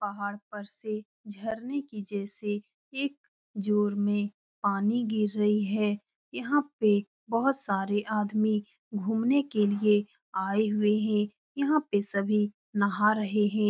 पहाड़ पर से झरने के जैसे एक जोर में पानी गिर रही है यहाँ पे बहुत सारे आदमी घूमने के लिए आए हुए हैं यहाँ पे सभी नहा रहे हैं।